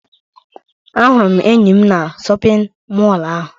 Ahụrụ m enyi m na shọpiñ mọlụ ahụ.